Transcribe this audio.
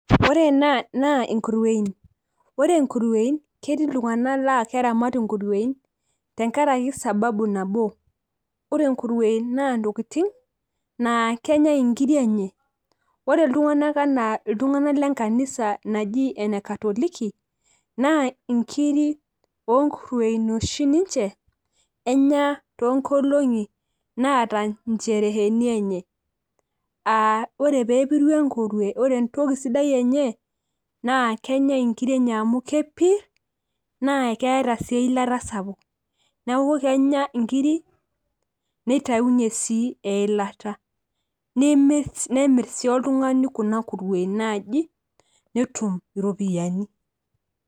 ore ena naa nkuruiein, oere nkuruein naa ketiii iltunganak laa keramat inkuein tenkarai sababu nabo. ore nkuruein naa ntokitin naa kenyae inkiri enye. ore iltunganak anaa iltunganak lenkanisa naji, ene katoliki, naa nkiri oonkuruien oshi enya ninche too nkolongi naata nchereheni enye.aa ore pee epiru enkurue ore entoki sidai enye. naa kenyae nkiri enye amu kepir, naa keeta sii eilata sapuk. neeku kenya nkiri, nitayunye sii eilata. nemir sii oltungani kuna kuruein naaji netum iropiyiani.